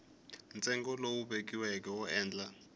ntsengo lowu vekiweke wo endla